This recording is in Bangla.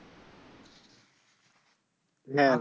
হ্যাঁ